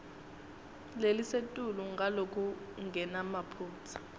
lelisetulu ngalokungenamaphutsa